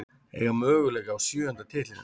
Eiga möguleika á sjöunda titlinum